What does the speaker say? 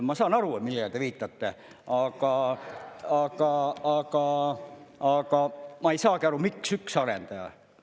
Ma saan aru, millele te viitate, aga ma ei saagi aru, miks üks arendaja.